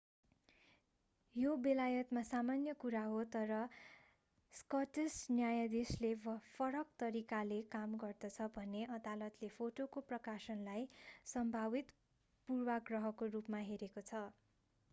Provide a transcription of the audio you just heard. यो बेलायतमा सामान्य कुरा हो तर स्कटिश न्यायाधीशले फरक तरिकाले काम गर्दछ भने अदालतले फोटोको प्रकाशनलाई सम्भावित पूर्वाग्रहको रूपमा हेरेको छ